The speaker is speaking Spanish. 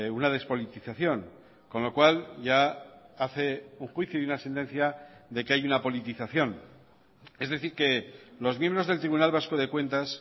una despolitización con lo cual ya hace un juicio y una sentencia de que hay una politización es decir que los miembros del tribunal vasco de cuentas